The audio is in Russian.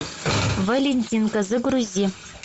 валентинка загрузи